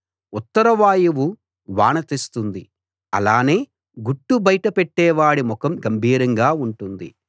ఉత్తర వాయువు వాన తెస్తుంది అలానే గుట్టు బయట పెట్టేవాడి ముఖం గంభీరంగా ఉంటుంది